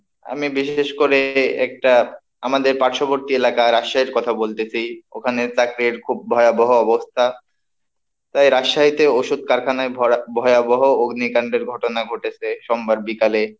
আমি বিশেষ করে একটা আমাদের পার্শ্ববর্তী এলাকার আশ্রয়ের কথা বলতেছি ওখানে চাকরির খুব ভয়াবহ অবস্থা, তাই রাজশাহীতে ওষুধ কারখানায় ভরা ভয়াবহ অগ্নিকাণ্ডের ঘটনা ঘটেছে, সোমবার বিকালে।